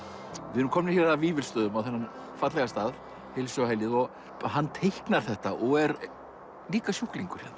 við erum komnir hér að Vífilsstöðum þennan fallega stað heilsuhælið og hann teiknar þetta og er líka sjúklingur hérna